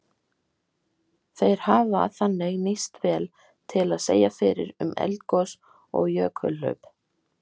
Þeir hafa þannig nýst vel til að segja fyrir um eldgos og jökulhlaup.